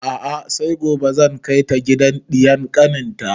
A'a sai gobe zan kai ta gidan ɗiyar kanin ta